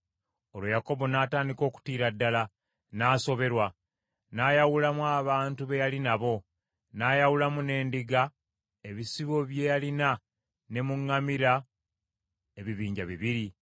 Olwo Yakobo n’atandika okutiira ddala, n’asoberwa. N’ayawulamu abantu be yali nabo, n’ayawulamu n’endiga, ebisibo bye yalina ne mu ŋŋamira, ebibinja bibiri,